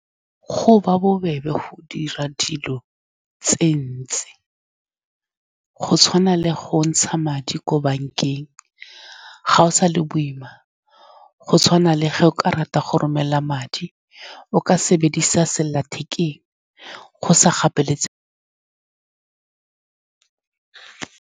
Go ba bobebe go dira dilo tse dintsi, go tshwana le go ntsha madi ko bankeng, gago sa le boima. Go tshwana le ge o ka rata go romela madi, o ka sebedisa selelathekeng go sa gapeletsege.